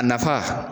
A nafa